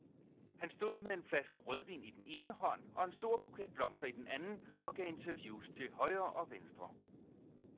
Han stod med en flaske rødvin i den ene hånd og en stor buket blomster i den anden og gav interviews til højre og venstre.